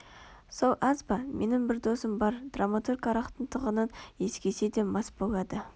сол аз ба менің бір досым бар драматург арақтың тығынын иіскесе де мас болады